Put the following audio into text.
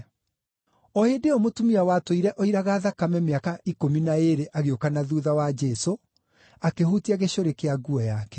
O hĩndĩ ĩyo mũtumia watũire oiraga thakame mĩaka ikũmi na ĩĩrĩ agĩũka na thuutha wa Jesũ, akĩhutia gĩcũrĩ kĩa nguo yake.